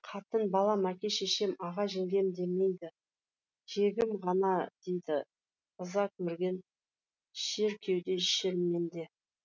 қатын балам әке шешем аға жеңгем демейді кегім ғана дейді ыза керген шер кеуде шерменде